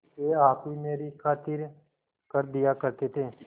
वे आप ही मेरी खातिर कर दिया करते थे